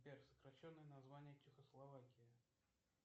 сбер сокращенное название чехословакии